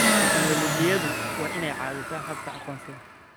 Tiknoolajiyadu waa inay caawisaa habka aqoonsiga.